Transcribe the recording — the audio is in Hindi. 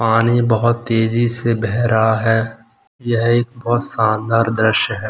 पानी बहुत तेजी से बह रहा है ये एक बहुत शानदार दृश्य है।